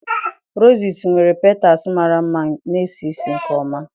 Roses nwere petals mara mma ma na-esi ísì nke ọma.